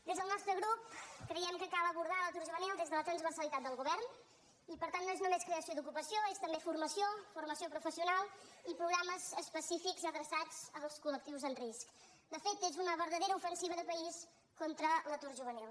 des del nostre grup creiem que cal abordar l’atur juvenil des de la transversalitat del govern i per tant no és només creació d’ocupació és també formació formació professional i programes específics adreçats als col·país contra l’atur juvenil